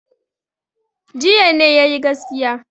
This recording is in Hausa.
Jiya ne ya yi gaskiya.